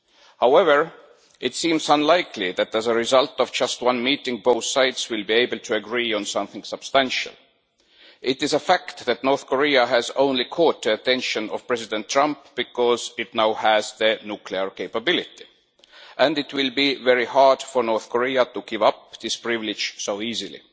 However, it seems unlikely that as a result of just one meeting, both sides will be able to agree on something substantial. It is a fact that North Korea has only caught the attention of President Trump because it now has nuclear capabilities, and it will be very hard for North Korea to give up this privilege so easily.